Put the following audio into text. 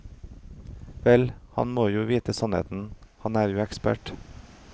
Vel, han må jo vite sannheten, han er jo ekspert.